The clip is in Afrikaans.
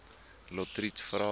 lotriet vra